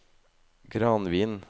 Granvin